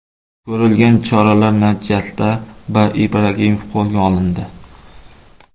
Ko‘rilgan choralar natijasida B. Ibragimov qo‘lga olindi.